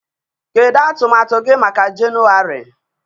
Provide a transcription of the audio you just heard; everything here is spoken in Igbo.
Kedu atụmatụ gị maka Jenụwarị?